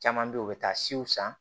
Caman bɛ yen u bɛ taa siw san